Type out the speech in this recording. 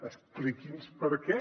expliqui’ns per què